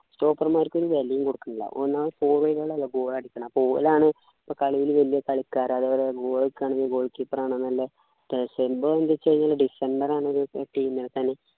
stopper മാർക്ക് ഒരു വിലയും കൊടുക്കുന്നില്ല ഒന്നാമത് forward കൾ അല്ലെ goal അടിക്കുന്നത് അപ്പൊ ഓലാണ് പ്പോ കളിയിൽ വല്യ കളിക്കാർ അതേപോലെ goal അടിക്കാൻ goal keeper ആണ് നല്ല എന്ത് ച്ചുകഴിഞ്ഞാല് ഡിസംബർ team നകത്താണി